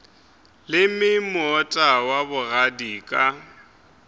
leme moota wa bogadi ka